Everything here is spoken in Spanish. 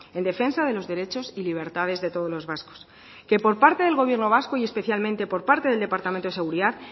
en defensa de los derechos y libertades de todos los vascos que por parte del gobierno vasco y especialmente por parte del departamento de seguridad